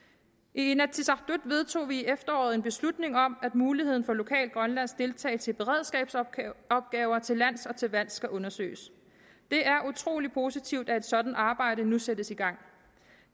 inatsisartut vedtog vi i efteråret en beslutning om at muligheden for lokal grønlandsk deltagelse i beredskabsopgaver til lands og til vands skal undersøges det er utrolig positivt at et sådant arbejde nu sættes i gang